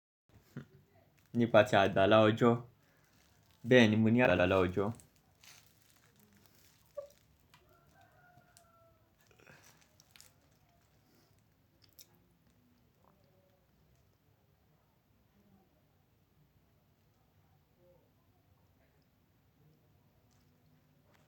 Nípa tí a dá lá ojó, bẹ́ẹ̀ ni mo ní àdá lá ojó.